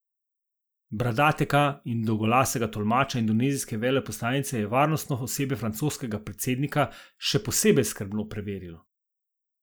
Bradatega in dolgolasega tolmača indonezijske veleposlanice je varnostno osebje francoskega predsednika še posebej skrbno preverilo.